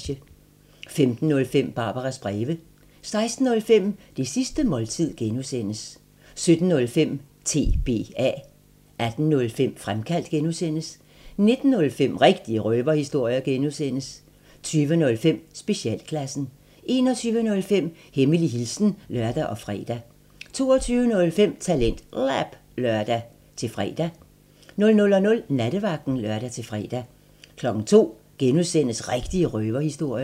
15:05: Barbaras breve 16:05: Det sidste måltid (G) 17:05: TBA 18:05: Fremkaldt (G) 19:05: Rigtige røverhistorier (G) 20:05: Specialklassen 21:05: Hemmelig hilsen (lør og fre) 22:05: TalentLab (lør-fre) 00:00: Nattevagten (lør-fre) 02:00: Rigtige røverhistorier (G)